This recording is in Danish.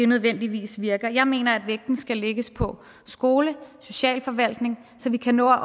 nødvendigvis virker jeg mener at vægten skal lægges på skole og socialforvaltning så vi kan nå at